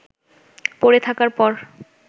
পড়ে থাকার পর